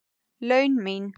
laun mín.